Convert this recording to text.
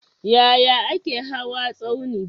Yaya ake hawa tsauni?